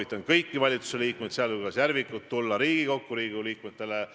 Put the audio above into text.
Ta on vaba tavalisele kodanikule, ta on vaba ajakirjanikule, ta on kindlasti vaba ka poliitikutele.